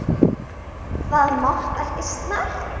Það mátti ekki snerta hann.